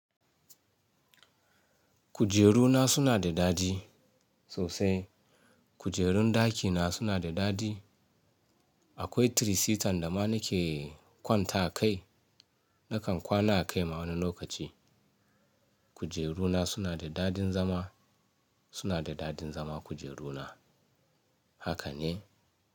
Kujeru na suna da dadi sosai. Kujerun dakina suna da dadi. Akwai tirisitan da ma nake kwanta akai. Nakan kwana a kai ma wani lokaci. Kujeru na suna da dadin zama, suna da dadin zama kujeru na, haka ne.